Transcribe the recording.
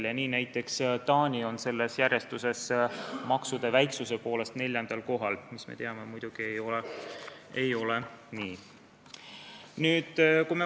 Nii on näiteks Taani selles järjestuses maksude väiksuse poolest neljandal kohal, mis, me teame, muidugi nii ei ole.